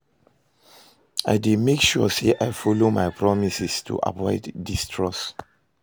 I dey make sure say i follow my promises to avoid distrust.